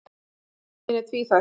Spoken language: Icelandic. Æfingin er tvíþætt.